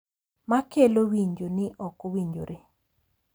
Makelo winjo ni ok owinjore